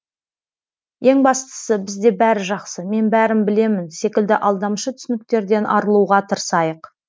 ең бастысы бізде бәрі жақсы мен бәрін білемін секілді алдамшы түсініктерден арылуға тырысайық